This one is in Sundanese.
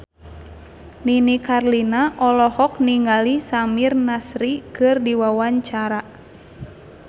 Nini Carlina olohok ningali Samir Nasri keur diwawancara